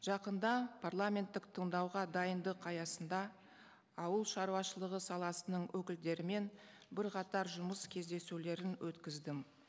жақында парламенттік тыңдауға дайындық аясында ауылшаруашылығы саласының өкілдерімен бірқатар жұмыс кездесулерін өткіздім